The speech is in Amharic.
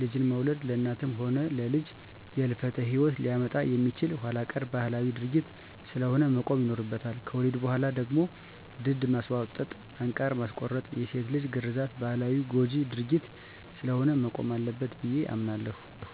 ልጅን መውለድ ለእናትም ሆነ ለልጅ የህልፈተ ሂወት ሊያመጣ የሚችል ኋላቀር ባህላዊ ድርጊት ስለሆነ መቆም ይኖርበታል። ከወሊድ በኋላ ደግሞ ድድ ማስቧጠጥ፣ አንቃር ማስቆረጥና የሴት ልጅ ግርዛት ባህላዊና ጎጅ ድርጊት ስለሆነ መቆም አለበት ብየ አምናለሁ።